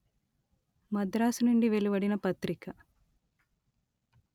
మద్రాసు నుండి వెలువడిన పత్రిక